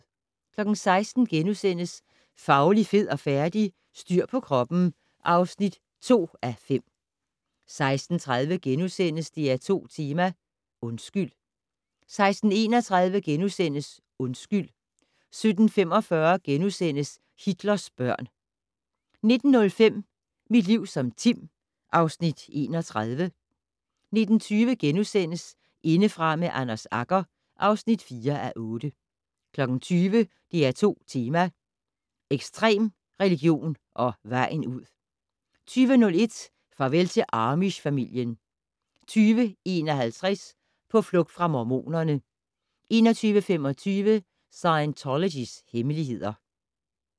16:00: Fauli, fed og færdig? - Styr på kroppen (2:5)* 16:30: DR2 Tema: Undskyld * 16:31: Undskyld * 17:45: Hitlers børn * 19:05: Mit liv som Tim (Afs. 31) 19:20: Indefra med Anders Agger (4:8)* 20:00: DR2 Tema: Ekstrem religion og vejen ud 20:01: Farvel til amish-familien 20:51: På flugt fra mormonerne 21:45: Scientologys hemmeligheder